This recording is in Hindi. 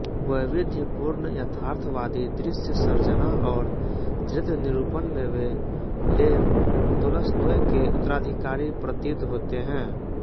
वैविध्यपूर्ण यथार्थवादी दृश्य सर्जना और चरित्रनिरूपण में वे लेव तोलस्तोय के उत्तराधिकारी प्रतीत होते हैं